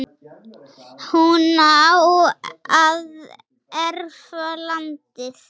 hún á að erfa landið.